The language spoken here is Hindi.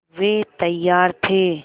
वे तैयार थे